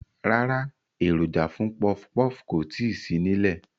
Rárá, èròjà fún pọfpọf kò tíì sí nílẹ̀